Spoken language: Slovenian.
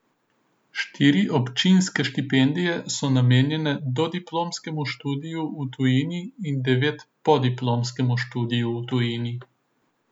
Štiri občinske štipendije so namenjene dodiplomskemu študiju v tujini in devet podiplomskemu študiju v tujini.